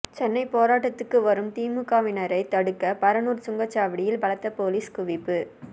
சென்னை போராட்டத்துக்கு வரும் திமுகவினரை தடுக்க பரனூர் சுங்கச்சாவடியில் பலத்த போலீஸ் குவிப்பு